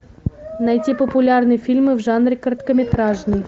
найти популярные фильмы в жанре короткометражный